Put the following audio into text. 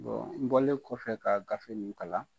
n bɔlen kɔfɛ ka gafe nin kalan